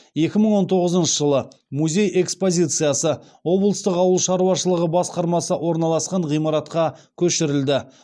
екі мың он тоғызыншы жылы музей экспозициясы облыстық ауыл шаруашылығы басқармасы орналасқан ғимаратқа көшірілді